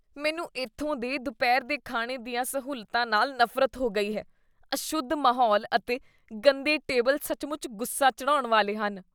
ਮੈਨੂੰ ਇੱਥੋਂ ਦੇ ਦੁਪਹਿਰ ਦੇ ਖਾਣੇ ਦੀਆਂ ਸਹੂਲਤਾਂ ਨਾਲ ਨਫ਼ਰਤ ਹੋ ਗਈ ਹੈ ਅਸ਼ੁੱਧ ਮਾਹੌਲ ਅਤੇ ਗੰਦੇ ਟੇਬਲ ਸੱਚਮੁੱਚ ਗੁੱਸਾ ਚੜ੍ਹਾਉਣ ਵਾਲੇ ਹਨ